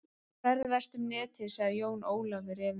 Ferðastu um Netið sagði Jón Ólafur efins